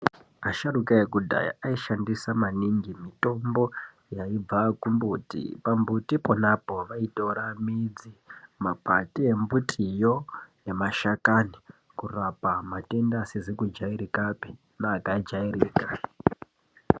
Asharuka ekudhaya aishandisa maningi mitombo yaibva ku mbuti pa mbuti ponapo vaitora mbidzi makwati embitiwo nema shakani kurapa matenda asizi ku jairikapi ne akajairika.